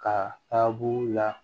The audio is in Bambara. Ka taa buru la